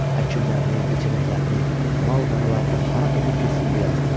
Əkinlərini, biçənəklərini, mal-qaralarını hara töküb getsin bu yazıqlar?